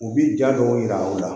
U bi ja dɔw yira u la